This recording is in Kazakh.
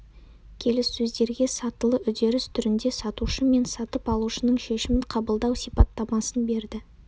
келіссөздерге сатылы үдеріс түрінде сатушы мен сатып алушының шешімін қабылдау сипаттамасын берді